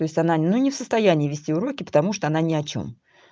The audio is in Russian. то есть она ну не в состоянии вести уроки потому что она ни о чём